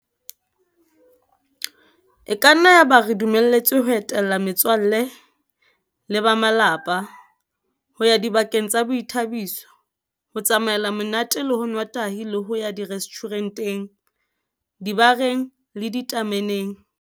E ka nna ya ba re dumeletswe ho etela me tswalle le ba malapa, ho ya dibakeng tsa boithabiso, ho tsamaela monate le ho nwa tahi le ho ya direstjhure nteng, dibareng le ditame neng.